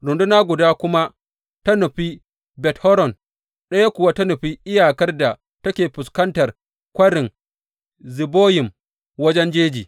Runduna guda kuma ta nufi Bet Horon, ɗayan kuwa ta nufi iyakar da take fuskantar Kwarin Ziboyim wajen jeji.